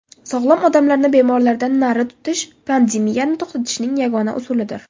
Sog‘lom odamlarni bemorlardan nari tutish pandemiyani to‘xtatishning yagona usulidir.